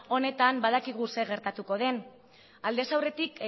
honetan badakigu zer gertatuko den aldez aurretik